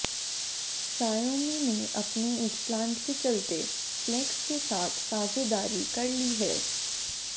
Xiaomi ने अपने इस प्लांट के चलते फ्लेक्स के साथ साझेदारी कर ली है